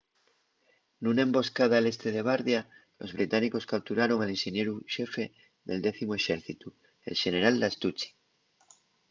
nuna emboscada al este de bardia los británicos capturaron al inxenieru xefe del décimu exércitu el xeneral lastucci